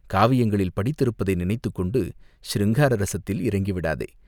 காவியங்களில் படித்திருப்பதை நினைத்துக்கொண்டு சிருங்கார ரஸத்தில் இறங்கிவிடாதே!